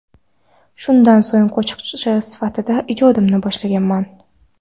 Shundan so‘ng qo‘shiqchi sifatida ijodimni boshlaganman.